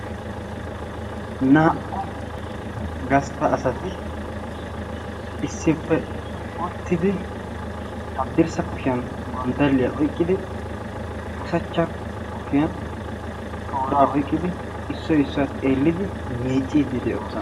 naa''u gastta asati issippe uuttidi haddirssa kushiyan gonddaliyaa oyqqidi usachcha kushiyan tooraa oyqqidi issoy issuwaa xeellidi miicciiddi de'oosona